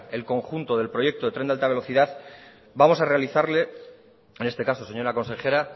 el conjunto del proyecto del tren de alta velocidad vamos a realizarle en este caso señora consejera